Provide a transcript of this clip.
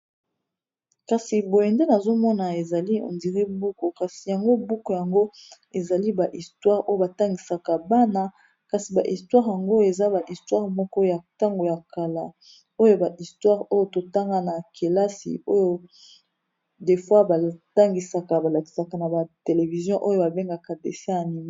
kasi boyende nazomona ezali ondiri buku kasi yango buku yango ezali bahistware oyo batangisaka bana kasi baistware yango eza ba istoare moko ya ntango ya kala oyo baistoare oyo totanga na kelasi oyo defoi batangisaka balakisaka na ba television oyo babengaka desin ya mimi